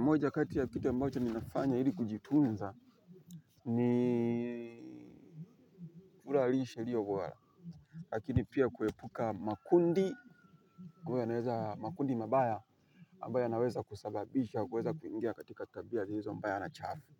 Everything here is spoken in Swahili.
Moja kati ya kitu ambacho ninafanya ili kujitunza ni lakini pia kuepuka makundi ambayo yanaweza, makundi mabaya ambayo yanaweza kusababisha kuweza kuingia katika tabia zilizo mbaya na chafu